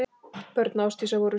Börn Ásdísar voru sjö.